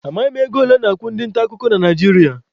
Amaghị m ego ole a na-akwụ ndị nta akụkọ nọ na Naijiria.